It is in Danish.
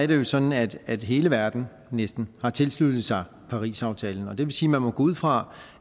det sådan at at hele verden næsten har tilsluttet sig parisaftalen og det vil sige at man må gå ud fra